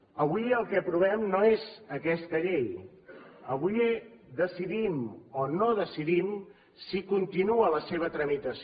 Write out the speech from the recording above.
avui el que aprovem no és aquesta llei avui decidim o no decidim si continua la seva tramitació